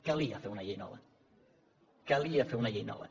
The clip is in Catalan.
calia fer una llei nova calia fer una llei nova